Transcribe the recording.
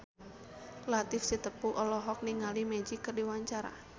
Latief Sitepu olohok ningali Magic keur diwawancara